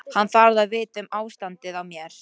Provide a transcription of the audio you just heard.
Hann þarf að vita um ástandið á mér.